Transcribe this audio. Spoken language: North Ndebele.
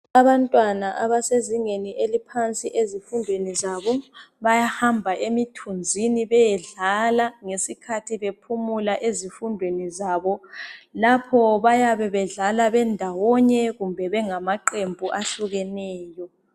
Abantwana abasezingeni eliphansi ezifundweni zabo bayahamba emithunzini beyedlala ngesikhathi bephumula ezifundweni zabo. Lapho bayabedlala bendawonye kumbe bengamaqembu ahlukeneyo.